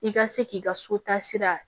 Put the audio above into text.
I ka se k'i ka so ta sira